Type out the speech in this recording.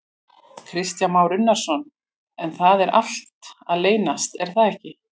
Kristján Már Unnarsson: En það er allt að leysast er það ekki?